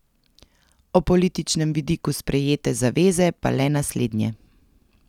O političnem vidiku sprejete zaveze pa le naslednje.